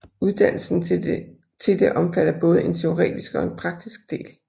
Uddannelsen til det omfatter både en teoretisk og en praktisk del